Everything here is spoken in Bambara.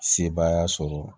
Sebaaya sɔrɔ